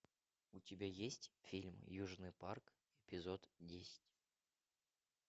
у тебя есть фильм южный парк эпизод десять